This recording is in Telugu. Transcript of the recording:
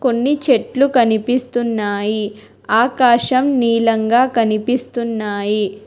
కొన్ని చెట్లు కనిపిస్తున్నాయి ఆకాశం నీలంగా కనిపిస్తున్నాయి.